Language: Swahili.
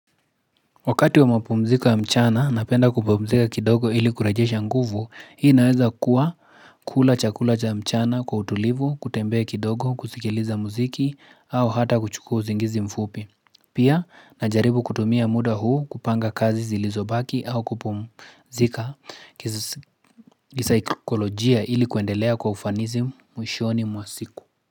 Wakati wa mapumziko ya mchana, napenda kupumzika kidogo ili kurejesha nguvu, hii naweza kuwa. Kula cha kula cha mchana kwa utulivu, kutembea kidogo, kusikiliza muziki, au hata kuchukua usingizi mfupi. Pia, najaribu kutumia muda huu kupanga kazi zilizobaki au kupumzika kisikolojia ili kuendelea kwa ufanizi mwishoni mwasiku.